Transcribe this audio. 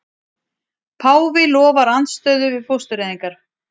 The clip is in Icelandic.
Páfi lofar andstöðu við fóstureyðingar